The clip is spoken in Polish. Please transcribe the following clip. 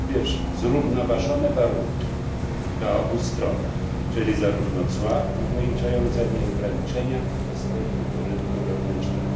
Po pierwsze zrównoważone warunki dla obu stron, czyli zarówno cła ograniczające, ale i ograniczenia dostępu do rynku wewnętrznego.